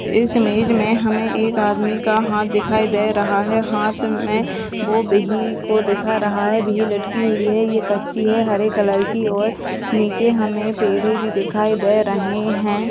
इस इमेज मे हमे एक आदमी का हाथ दिखाई दे रहा है। हाथ मे दिखा रहा है। लटकी हुई है। ये कच्ची है। हरे कलर की और नीचे हमे पड़े भी दिखाई दे रही है।